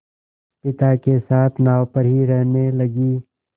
पिता के साथ नाव पर ही रहने लगी